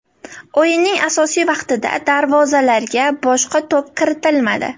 O‘yinning asosiy vaqtida darvozalarga boshga to‘p kiritilmadi.